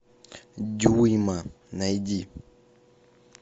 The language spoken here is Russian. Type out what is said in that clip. дюйма найди